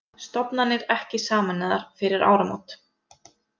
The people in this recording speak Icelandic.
Stofnanir ekki sameinaðar fyrir áramót